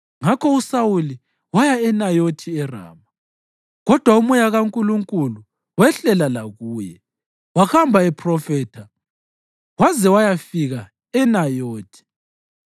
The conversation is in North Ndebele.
Ngakho uSawuli waya eNayothi eRama. Kodwa uMoya kaNkulunkulu wehlela lakuye, wahamba ephrofitha waze wayafika eNayothi.